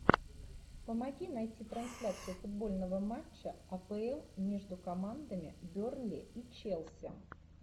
помоги найти трансляцию футбольного матча апл между командами бернли и челси